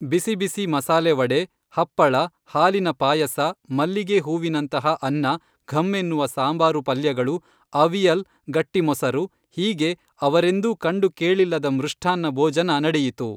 ಬಿಸಿಬಿಸಿ ಮಸಾಲೆವಡೆ ಹಪ್ಪಳ ಹಾಲಿನ ಪಾಯಸ ಮಲ್ಲಿಗೆ ಹೂವಿನಂತಹ ಅನ್ನ, ಘಮ್ಮೆನ್ನುವ ಸಾಂಬಾರು ಪಲ್ಯಗಳು, ಅವಿಯಲ್, ಗಟ್ಟಿಮೊಸರು, ಹೀಗೆ ಅವರೆಂದೂ ಕಂಡು ಕೇಳಿಲ್ಲದ ಮೃಷ್ಟಾನ್ನ ಭೋಜನ ನಡೆಯಿತು